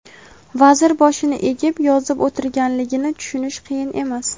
vazir boshini egib yozib o‘tirganligini tushunish qiyin emas.